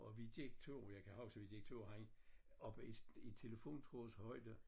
Og vi gik 2 jeg kan huske vi gik 2 hen oppe i telefontråds højde